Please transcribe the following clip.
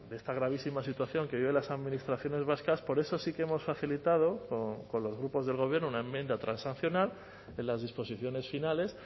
esta gravísima situación que viven las administraciones vascas por eso sí que hemos facilitado con los grupos del gobierno una enmienda transaccional de las disposiciones finales